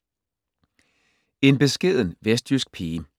En beskeden vestjysk pige